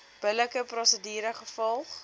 billike prosedure gevolg